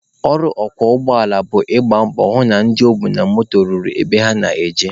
Ọrụ ọkwọ ụgbọala bụ ị gba mbọ hụ na ndị o bu na moto ruru ebe ha na-eje.